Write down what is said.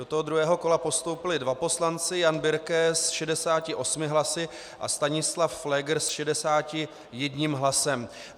Do toho druhého kola postoupili dva poslanci, Jan Birke s 68 hlasy a Stanislav Pfléger s 61 hlasem.